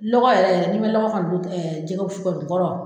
Lɔgɔ yɛrɛ yɛrɛ nibɛ lɔgɔ kɔni don jɛgɛwusu kɔni kɔrɔ.